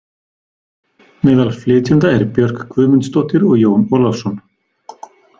Meðal flytjenda er Björk Guðmundsdóttir og Jón Ólafsson.